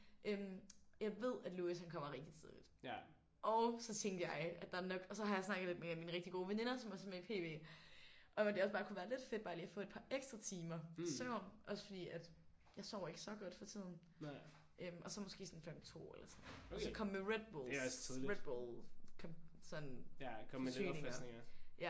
Øh jeg ved at Louis han kommer rigtig tidligt og så tænkte jeg at der er nok og så har jeg snakket lidt med en af mine rigtig gode veninder som også er med i PB om at det også bare kunne være lidt fedt bare lige at få et par ekstra timer søvn også fordi at jeg sover ikke så godt for tiden øh og så måske sådan klokken 2 eller sådan noget og så komme med redbulls redbull sådan forsyninger